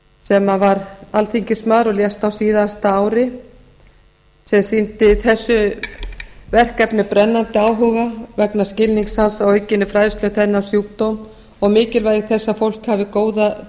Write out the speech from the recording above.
sem var alþingismaður og lést á síðasta ári sem sýndi þessu verkefni brennandi áhuga vegna skilnings hans á aukinni fræðslu um þennan sjúkdóm og mikilvægi þess að fólk hafi góða